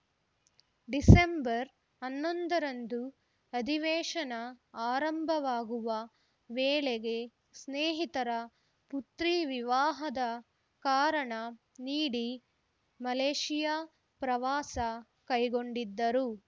December ಹನ್ನೊಂದರಂದು ಅಧಿವೇಶನ ಆರಂಭವಾಗುವ ವೇಳೆಗೆ ಸ್ನೇಹಿತರ ಪುತ್ರಿ ವಿವಾಹದ ಕಾರಣ ನೀಡಿ ಮಲೇಷ್ಯಾ ಪ್ರವಾಸ ಕೈಗೊಂಡಿದ್ದರು